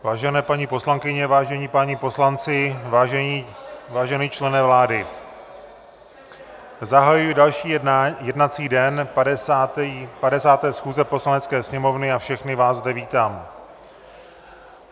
Vážené paní poslankyně, vážení páni poslanci, vážený člene vlády, zahajuji další jednací den 50. schůze Poslanecké sněmovny a všechny vás zde vítám.